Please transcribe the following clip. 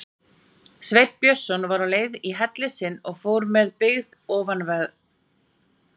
Sveinn Björnsson var á leið í helli sinn og fór með byggð ofanverðri.